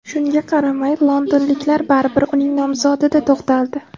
Shunga qaramay, londonliklar baribir uning nomzodida to‘xtaldi.